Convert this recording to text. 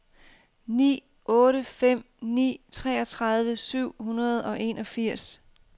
ni otte fem ni treogtredive syv hundrede og enogfirs